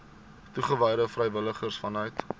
toegewyde vrywilligers vanuit